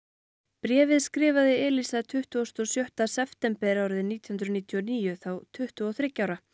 bréfið skrifaði tuttugasta og sjötta september árið nítján hundruð níutíu og níu þá tuttugu og þriggja ára